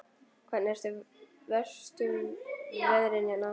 Hvernig eru verstu veðrin hérna?